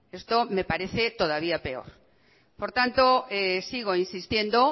esto me parece todavía peor por tanto sigo insistiendo